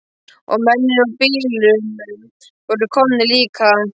Og mennirnir úr bílunum voru komnir líka.